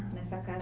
Nessa